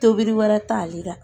Tobili wɛrɛ t'ale la